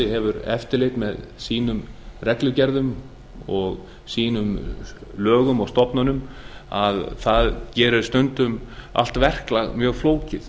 hefur eftirlit með sínum lögum reglugerðum og stofnunum gerir stundum allt verklag mjög flókið